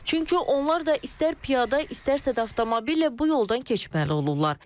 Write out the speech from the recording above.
Çünki onlar da istər piyada, istərsə də avtomobillə bu yoldan keçməli olurlar.